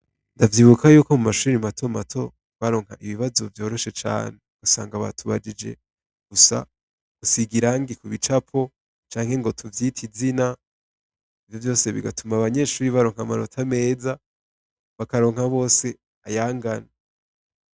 Ndavyibuka yuko mumashuri matomato baronka ibibazo vyoroshe cane, ugasanga batubajije gusiga irangi kubicapo canke ngo tuvyite izina, ivyo vyose bigatuma abanyeshure baronka amanota meza, bakaronka bose ayangana.